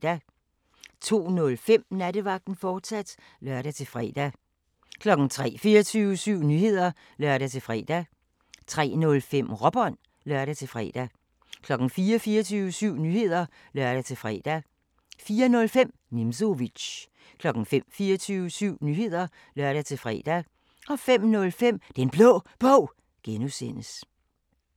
02:05: Nattevagten, fortsat (lør-fre) 03:00: 24syv Nyheder (lør-fre) 03:05: Råbånd (lør-fre) 04:00: 24syv Nyheder (lør-fre) 04:05: Nimzowitsch 05:00: 24syv Nyheder (lør-fre) 05:05: Den Blå Bog (G)